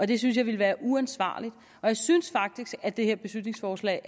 det synes jeg ville være uansvarligt og jeg synes faktisk at det her beslutningsforslag